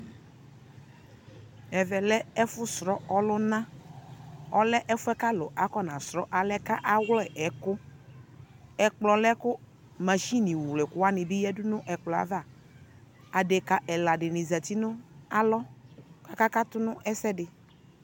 Ɛvɛ lɛ ɛfo srɔ ɔlunaƆlɛ fuɛ ka alu akɔna srɔ alɛ awlɛ ɛkuƐkplɔ lɛ ko nashini wlɛ ɛku wane be yadu no ɛkplɔ avaAdeka ɛla de ne zati no alɔ kaka kato no ɛsɛde